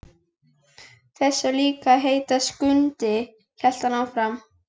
Þessi á líka að heita Skundi, hélt hann áfram.